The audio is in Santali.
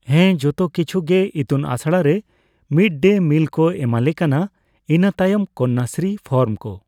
ᱦᱮᱸ ᱡᱚᱛᱚ ᱠᱤᱪᱷᱩ ᱜᱮ ᱤᱛᱩᱱ ᱟᱥᱲᱟ ᱨᱮ ᱢᱤᱰᱼᱰᱮᱼᱢᱤᱞ ᱠᱚ ᱮᱢᱟᱞᱮ ᱠᱟᱱᱟ, ᱤᱱᱟᱹᱛᱟᱭᱚᱢ ᱠᱚᱱᱱᱟᱥᱨᱤ ᱯᱷᱚᱨᱢ ᱠᱚ ᱾